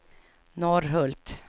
Norrhult